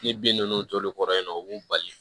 Ni bin ninnu toli kɔrɔ yen nɔ u b'u bali